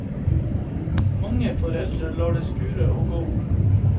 Mange foreldre lar det skure og gå.